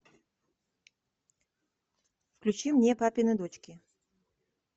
включи мне папины дочки